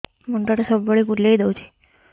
ମୁଣ୍ଡଟା ସବୁବେଳେ ବୁଲେଇ ଦଉଛି